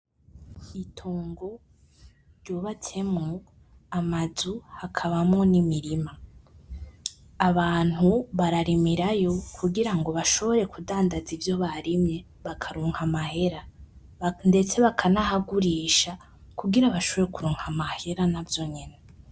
Itongo ry'ubatsemwo amazu hakabamwo n'imirima, abantu bararimirayo kugirango bashobore kudandaza ivyo barimye bakaronka amahera, ndetse bakanahagurisha, kugira bashobore kuronka mahera navyo nyene.